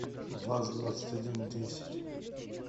ваз двадцать один десять